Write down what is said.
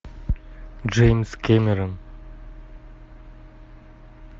джеймс кэмерон